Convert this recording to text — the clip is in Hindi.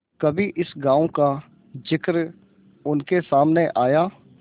कभी इस गॉँव का जिक्र उनके सामने आया